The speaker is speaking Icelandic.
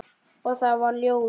Og það varð ljós.